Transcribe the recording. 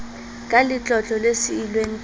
ka letlotlo le siilweng ke